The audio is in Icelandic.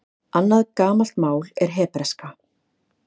Annað gamalt mál er hebreska.